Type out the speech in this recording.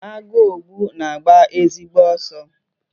Agụogbu na-agba ezigbo ọsọ.